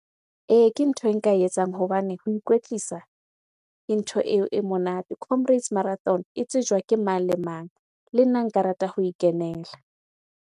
Ee, ke ntho e nka e etsang hobane ho ikwetlisa ke ntho e monate. Comrades marathon e tsejwa ke mang le mang. Le nna nka rata ho e kenela.